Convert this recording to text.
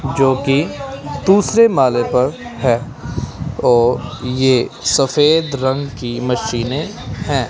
जो कि दूसरे माले पर है और ये सफेद रंग की मशीने है।